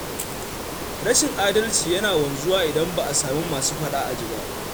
Rashin adalci yana wanzuwa idan ba a sami masu faɗa a ji ba.